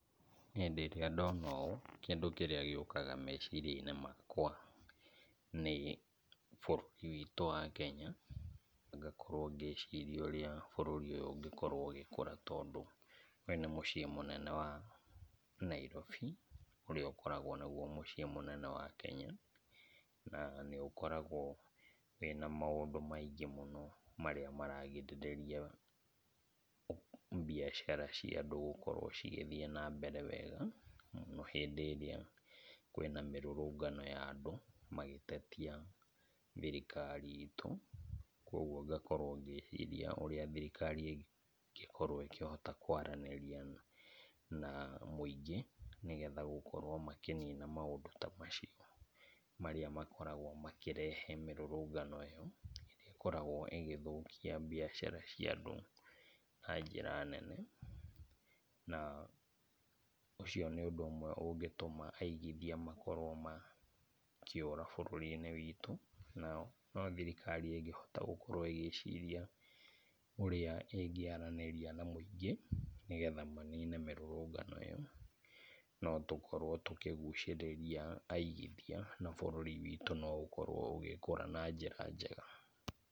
Hĩndĩ ĩrĩa ndona ũũ kĩndũ kĩrĩa gĩũkaga meciria-inĩ makwa nĩ bũrũri witũ wa Kenya. Ngakorwo ngĩciria ũrĩa bũrũri ũyũ ũngĩkorwo ũgĩkũra tondũ ũyũ nĩ mũciĩ mũnene wa Nairobi ũrĩa ũkoragwo nĩ mũciĩ mũnene wa Kenya. Na nĩũkoragwo wĩna maũndũ maingĩ mũno marĩa maragirĩrĩria mbiacara cia andũ gũkorwo cigĩthiĩ na mbere wega mũno hĩndĩ ĩrĩa kwĩna mĩrũrũngano ya andũ magĩtetia thirikari itũ. Kuoguo ngakorwo ngĩciria ũrĩa thirikari ĩngĩkorwo ĩkĩhota kwaranĩria na mũingĩ nĩgetha gũkorwo makĩnina maũndũ ta macio marĩa makoragwo makĩrehe mĩrũrũngano ĩyo, ĩrĩa ĩkoragwo ĩgĩthũkia mbiacara cia andũ na njĩra nene, na ũcio nĩ ũndũ ũmwe ũngĩtũma aigithia makorwo makĩũra bũrũri-inĩ witũ, nao no thirikari ĩngĩhota gũorwo ĩgĩciria ũrĩa ĩngĩaranĩria na mũingĩ nĩgetha manine mĩrũrũngano ĩyo. No tũkorwo tũkĩgucĩrĩria aigithia na bũrũri witũ no ũkorwo ũgĩkũra na njĩra njega.